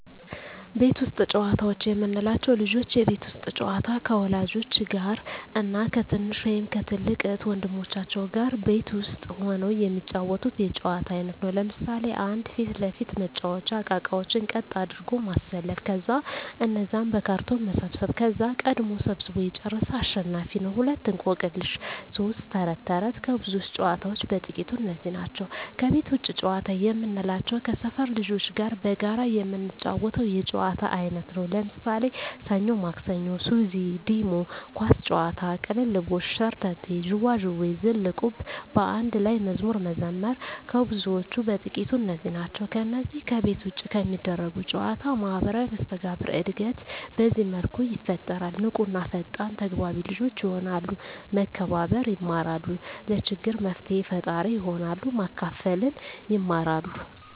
ቤት ውስጥ ጨዋታዎች የምንላቸው፦ ልጆች የቤት ውስጥ ጨዋታ ከወላጆች ጋር እና ከትንሽ ወይም ከትልቅ እህት ወንድሞቻቸው ጋር ቤት ውስጥ ሁነው የሚጫወቱት የጨዋታ አይነት ነው። ለምሣሌ 1. ፊት ለፊት መጫዎቻ እቃቃዎችን ቀጥ አድርጎ ማሠለፍ ከዛ እነዛን በካርቶን መሰብሠብ ከዛ ቀድሞ ሠብስቦ የጨረሠ አሸናፊ ነው፤ 2. እቆቅልሽ 3. ተረት ተረት ከብዙዎች ጨዋታዎች በጥቃቱ እነዚህ ናቸው። ከቤት ውጭ ጨዋታ የምንላቸው ከሠፈር ልጆች ጋር በጋራ የምንጫወተው የጨዋታ አይነት ነው። ለምሣሌ፦ ሠኞ ማክሠኞ፤ ሱዚ፤ ዲሞ፤ ኳስ ጨዋታ፤ ቅልልቦሽ፤ ሸርተቴ፤ ዥዋዥዌ፤ ዝልቁብ፤ በአንድ ላይ መዝሙር መዘመር ከብዙዎቹ በጥቂቱ እነዚህ ናቸው። ከነዚህ ከቤት ውጭ ከሚደረጉ ጨዎች ማህበራዊ መስተጋብር እድገት በዚህ መልኩ ይፈጠራል። ንቁ እና ፈጣን ተግባቢ ልጆች የሆናሉ፤ መከባበር የማራሉ፤ ለችግር መፍትሔ ፈጣሪ ይሆናሉ፤ ማካፈልን ይማራ፤